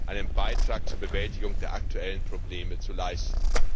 einen Beitrag zur Bewältigung der aktuellen Probleme zu leisten.